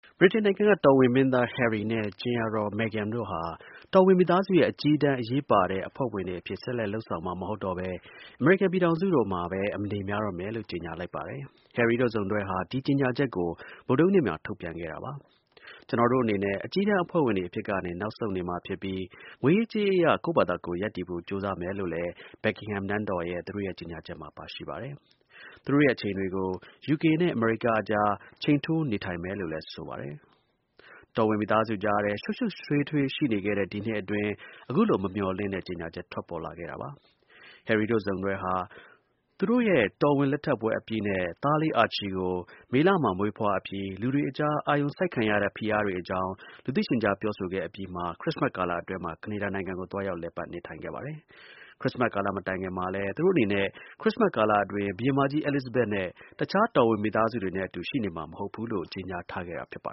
ဗြိတိန်နိုင်ငံက တော်ဝင် မင်းသား Harry နဲ့ ကြင်ယာ Meghan တို့ဟာ တော်ဝင် မိသားစုရဲ့ အကြီးတန်း အရေးပါတဲ့ အဖွဲ့ဝင်တွေ အဖြစ်ကနေ နောက်ဆုတ်လိုက်ပြီး အမေရိကန် ပြည်ထောင်စုမှာပဲ အနေများတော့မယ်လို့ ကြေညာကြောင်း AFP သတင်းက ဖော်ပြပါတယ်။ Harry တို့ စုံတွဲဟာ ဒီ ကြေညာချက်ကို ဗုဒ္ဓဟူးနေ့မှာ ထုတ်ပြန်ခဲ့တာပါ။ ကျွန်တော်တို့ အနေနဲ့ အကြီးတန်း အဖွဲ့ဝင်တွေအဖြစ်ကနေ နောက်ဆုတ် နေမှာဖြစ်ပြီး ငွေရေးကြေးရေး အရ ကိုယ့်ဘာသာကိုယ် ရပ်တည်ဖို့ ကြိုးစားမယ်လို့လည်း Buckingham နန်းတော်ရဲ့ ကြေညာချက်မှာ ပါရှိပါတယ်။ ကျွန်တော်တို့ရဲ့ အချိန်တွေကို ယူကေနဲ့ အမေရိကန် အကြား ချိန်ထိုး နေထိုင်မယ်လို့လည်း ဆိုပါတယ်။ ဗြိတိန် တော်ဝင်မိသားစုကြားထဲ ရှုပ်ရှုပ်ထွေးထွေး ရှိနေတဲ့ ဒီနှစ်အတွင်း အခုလို မမျှော်လင့်တဲ့ ကြေညာချက် ထွက်လာခဲ့တာပါ။ Harry တို့ စုံတွဲဟာ သူတို့ မင်္ဂလာ အခမ်းအနား အပြီးနဲ့ သားလေး Archie ကို မေလမှာ မွေးဖွားအပြီး လူတွေအကြား အာရုံစိုက်ခံရတဲ့ ဖိအားတွေအကြောင်း လူသိရှင်ကြား ပြောဆိုခဲ့အပြီးမှာ ခရစ်စမတ်ကာလ အတွင်းမှာ ကနေဒါနိုင်ငံကို သွားရောက်လည်ပတ် နေထိုင်ခဲ့ပါတယ်။ ခရစ်စမတ် မတိုင်ခင်မှာ သူတို့အနေနဲ့ ခရစ်စမတ်ကာလအတွင်း ဘုရင်မကြီး Elizabethနဲ့ တစ်ခြား တော်ဝင်မိသားစုတွေ နဲ့အတူ ရှိနေမှာ မဟုတ်ဘူးလို့ ကြေညာထားခဲ့တာပါ